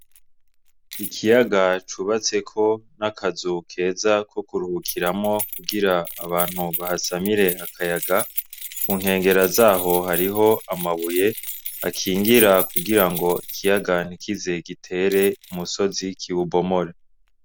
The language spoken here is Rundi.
Ikiyaga cubatseko n'akazu keza ko kuruhukiramwo kugira abantu bahasamire akayaga. Ku nkengera z'aho hariho amabuye akingira kugira ngo ikiyaga ntikize gitere umusozi, kiwubomore.